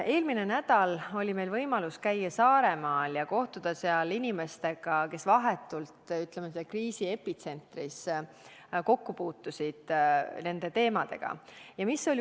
Eelmine nädal oli meil võimalus käia Saaremaal ja kohtuda seal inimestega, kes vahetult kriisi epitsentris nende teemadega kokku puutusid.